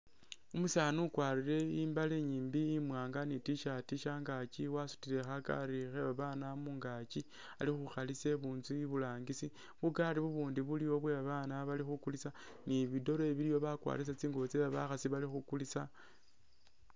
Umusani ukwarile imbale inyiimbi imwanga ni t-shirt shangakyi, wasutile khakari khebabana mungakyi alikhukhalisa ibunzu iburangisi bukari ubundi bwebabana bulywawo balikhukulisa ni bidoole biliwo bakwarisa tsingubo tsebakhasi balikhukulisa